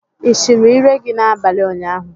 Ị chiri íré gị n'abalị unyahụ?